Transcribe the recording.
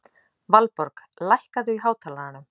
Valborg, lækkaðu í hátalaranum.